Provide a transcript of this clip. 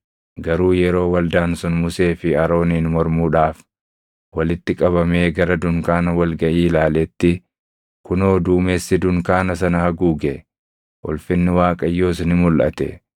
Garuu yeroo waldaan sun Musee fi Arooniin mormuudhaaf walitti qabamee gara dunkaana wal gaʼii ilaaletti, kunoo duumessi dunkaana sana haguuge; ulfinni Waaqayyoos ni mulʼate.